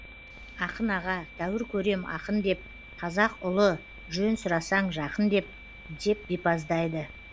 ақын аға тәуір көрем ақын деп қазақ ұлы жөн сұрасаң жақын деп деп бипаздайды